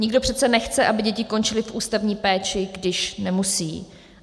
Nikdo přece nechce, aby děti končily v ústavní péči, když nemusí.